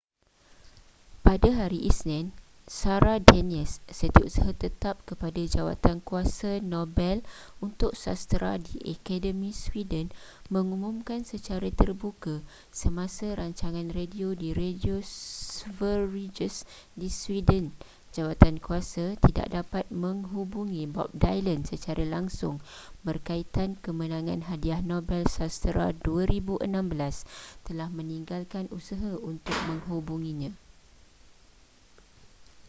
pada hari isnin sara danius setiausaha tetap kepada jawatankuiasa nobel untuk sastera di akademi sweden mengumumkan secara terbuka semasa rancangan radio di radio sveriges di sweden jawatankuasa tidak dapat mengubungi bob dylan secara langsung berkaitan kemenangan hadiah nobel sastera 2016 telah meninggalkan usaha untuk menhgubunginya